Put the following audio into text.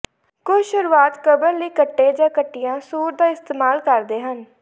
ਕੁਝ ਸ਼ੁਰੁਆਤ ਕਬਰ ਲਈ ਕੱਟੇ ਜਾਂ ਕੱਟਿਆ ਸੂਰ ਦਾ ਇਸਤੇਮਾਲ ਕਰਦੇ ਹਨ